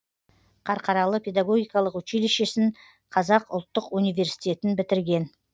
қарқаралы педагогикалық училищесін қазақ ұлттық университетін бітірген